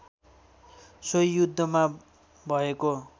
सोही युद्धमा भएको